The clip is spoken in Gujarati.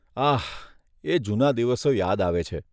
આહ, એ જૂના દિવસો યાદ આવે છે.